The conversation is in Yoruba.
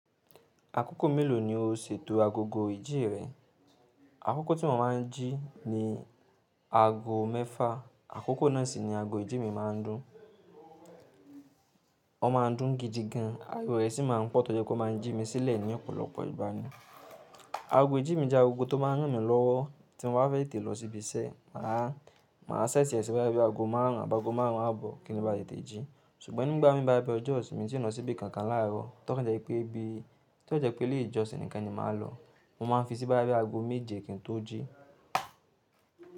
Àkókò mélòó ni o ṣètò agogo ìjí rẹ? Àkókò tí mo máa ń jí ni aago mẹ́fà. Àkókò náà sì ni ago ìjí mi máa ń dún. Ó máa ń dún gidi gan, aago rẹ̀ sì máa ń pọ̀ torí pé kó máa ń jí mi sílẹ̀ ní ọ̀pọ̀lọpọ̀ ìgbà ni. Ago ìjí mi jẹ́ agogo tó máa ń rán mi lọ́wọ́ tí mo bá fẹ́ tètè lọ síbi iṣẹ́. Màá, màá ṣẹẹ̀ti ẹ̀ sí bí i bá bí ago márùn ún àbágo márùn ún á bọ̀ kí n ba lè tètè jí. Ṣùgbọ́n nígbà mí bá bẹ ọjọ́ ìsinmi tí ó ń lọ síbi kankan láì rọ̀, torí pé ọjọ́ tí ó jẹ́ pé lè ìjọ̀ṣìn nìkan ni màá lọ, mo máa ń fi sí bá bí ago méje kí n tó jí.